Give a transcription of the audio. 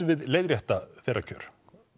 við leiðrétta þeirra kjör